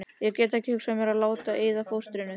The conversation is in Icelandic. Geti ekki hugsað mér að láta eyða fóstrinu.